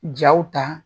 Jaw ta